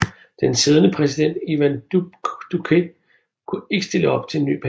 Den siddende præsident Iván Duque kunne ikke stille op til en ny periode